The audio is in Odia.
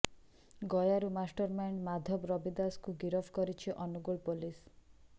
ଗୟାରୁ ମାଷ୍ଟରମାଇଣ୍ଡ ମାଧବ ରବି ଦାସକୁ ଗିରଫ କରିଛି ଅନୁଗୋଳ ପୋଲିସ